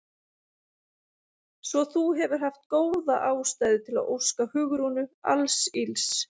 Svo þú hefur haft góða ástæðu til að óska Hugrúnu alls ills?